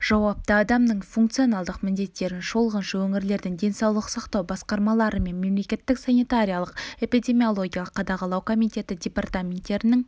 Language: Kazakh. жауапты адамның функционалдық міндеттерін шолғыншы өңірлердің денсаулық сақтау басқармалары мен мемлекеттік санитарлық-эпидемиологиялық қадағалау комитеті департаменттерінің